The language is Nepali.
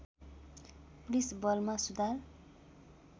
पुलिस बलमा सुधार